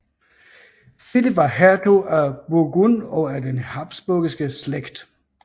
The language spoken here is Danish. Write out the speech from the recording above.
Filip var hertug af Burgund og af den habsburgske slægt